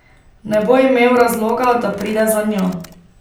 Ne bo imel razloga, da pride za njo.